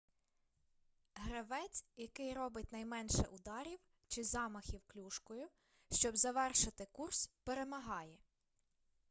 гравець який робить наймеше ударів чи замахів клюшкою щоб завершити курс перемагає